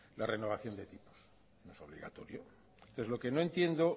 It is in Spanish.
la renovación de tipos no es obligatorio entonces lo que no entiendo